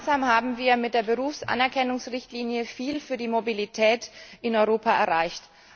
Gemeinsam haben wir mit der Berufsanerkennungsrichtlinie viel für die Mobilität in Europa erreicht.